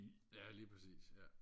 ja lige præcis ja